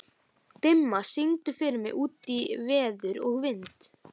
Dimma, syngdu fyrir mig „Út í veður og vind“.